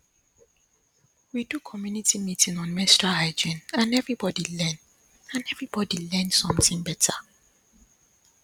we do community meeting on menstrual hygiene and everybody learn and everybody learn something better